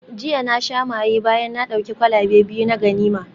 Jiya na sha maye bayan na dauki kwalabe biyu na ganima